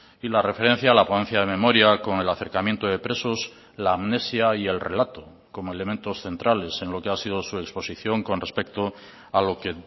y la referencia a la ponencia de memoria con el acercamiento de presos la amnesia y el relato como elementos centrales en lo que ha sido su exposición con respecto a lo que